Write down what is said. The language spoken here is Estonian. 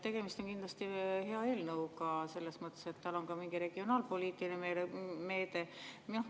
Tegemist on kindlasti hea eelnõuga selles mõttes, et tal on ka mingi regionaalpoliitiline mõõde.